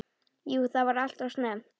Jú það var alltof snemmt.